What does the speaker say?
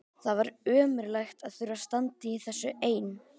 Það var ömurlegt að þurfa að standa í þessu ein.